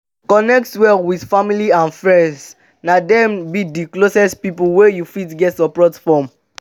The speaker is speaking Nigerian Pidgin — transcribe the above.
connect well with family and friends na dem be d closest pipo wey you fit get support from